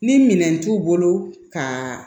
Ni minɛn t'u bolo ka